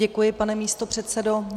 Děkuji, pane místopředsedo.